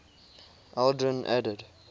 aldrin added